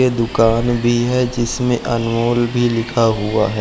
ये दुकान भी है जिसमें अमूल भी लिखा हुआ है।